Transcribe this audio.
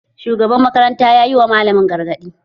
Shugaban makaranta yayi ma malamin gargaɗi